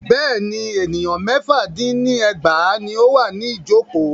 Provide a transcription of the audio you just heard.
Bẹ́ẹ̀ni, ènìyàn mẹ́fà dín ní ẹgbàá ní o wà ní ìjọ̀kọ́.